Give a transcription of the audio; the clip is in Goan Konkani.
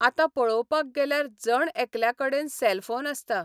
आतां पळोवपाक गेल्यार जण एकल्या कडेन सेलफोन आसता.